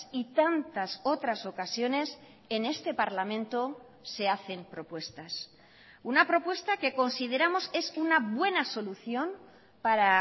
y tantas otras ocasiones en este parlamento se hacen propuestas una propuesta que consideramos es una buena solución para